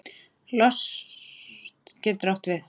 Lost getur átt við